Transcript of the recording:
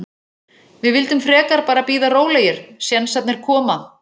Við vildum frekar bara bíða rólegir, sénsarnir koma.